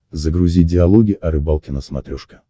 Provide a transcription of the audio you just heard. загрузи диалоги о рыбалке на смотрешке